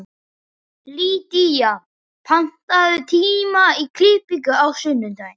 Lýdía, pantaðu tíma í klippingu á sunnudaginn.